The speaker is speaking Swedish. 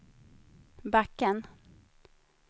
backen